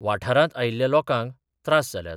वाठारांत आयिल्ल्या लोकांक त्रास जाल्यात.